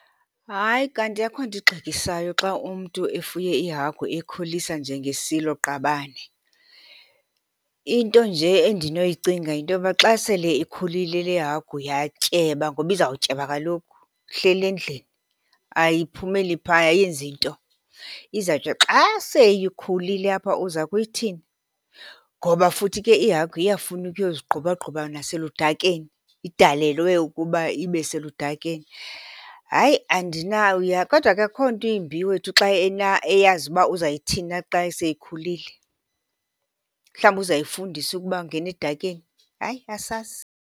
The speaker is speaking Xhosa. Hayi kanti, akho nto ingxekisayo xa umntu efuye ihagu eyikhulisa njengesiloqabane. Into nje endinoyicinga yintoba xa sele ikhulile le hagu yatyeba, ngoba izawutyeba kaloku ihleli endlini ayiphumeleli phaa, ayenzi nto. Izawuthi xa seyikhulile apha uza kuyithini? Ngoba futhi ke ihagu iyafuna ukuyozigqubagquba naseludakeni, idalelwe ukuba ibe seludakeni. Hayi , kodwa ke akukho nto imbi wethu xa eyazi uba uzayithini na xa seyikhulile. Mhlawumbi uzayifundisa ukuba awungeni edakeni. Hayi asazi.